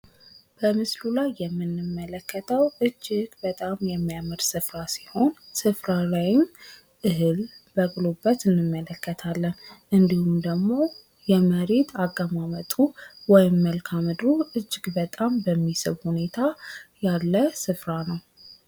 በምስሉ ላይ የምንመለከተው እጅግ በጣም የሚያምር ስፍራ ሲሆን ስፍራው ላይም እህል በቅሎበት እንመለከታለን እንዲሁም ደግሞ የመሬት አቀማመጡ ወይም መልካምድሩ እጅግ በጣም በሚስብ ሁኔታ ያለ ስፍራ ነው።